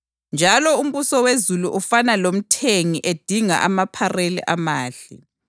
Njalo umbuso wezulu ufana lomthengi edinga amaphareli amahle.